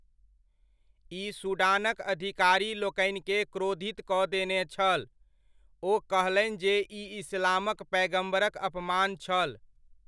ई सूडानक अधिकारीलोकनिकेँ क्रोधित कऽ देने छल, ओ कहलनि जे ई इस्लामक पैगम्बरक अपमान छल।